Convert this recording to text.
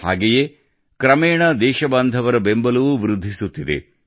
ಹಾಗೆಯೇ ಕ್ರಮೇಣ ದೇಶಬಾಂಧವರ ಬೆಂಬಲವೂ ವೃದ್ಧಿಸುತ್ತಿದೆ